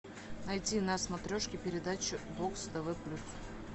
найти на смотрешке передачу бокс тв плюс